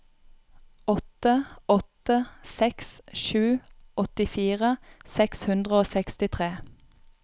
åtte åtte seks sju åttifire seks hundre og sekstitre